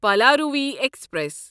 Palaruvi express